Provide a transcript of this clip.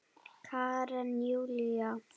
Karen Júlía.